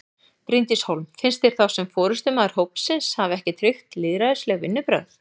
Bryndís Hólm: Finnst þér þá sem forystumaður hópsins hafi ekki tryggt lýðræðisleg vinnubrögð?